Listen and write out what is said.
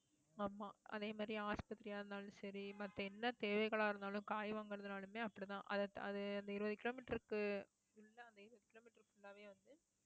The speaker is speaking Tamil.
ஆமாம் அதே மாதிரி ஆஸ்பத்திரியா இருந்தாலும் சரி மத்த என்ன தேவைகளா இருந்தாலும் காய் வாங்குறதுனாலுமே அப்படித்தான். அது~ அது அந்த இருபது கிலோ மீட்டருக்கு full ஆவே இருபது கிலோ மீட்டருக்கு full ஆவே வந்து